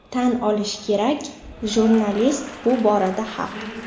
Tan olish kerak, jurnalist bu borada haq.